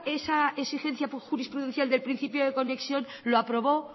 esa exigencia jurisprudencial del principio de conexión lo aprobó